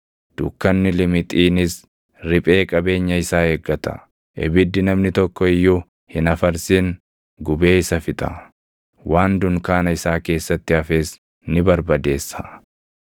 dukkanni limixiinis riphee qabeenya isaa eeggata. Ibiddi namni tokko iyyuu hin afarsin gubee isa fixa; waan dunkaana isaa keessatti hafes ni barbadeessa.